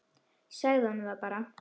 Segðu honum það bara!